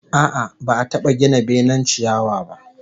A'a, ba'a taba gina benen ciyawa ba